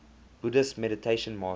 buddhist meditation master